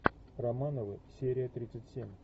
романовы серия тридцать семь